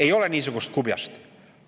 Ei ole niisugust kubjast!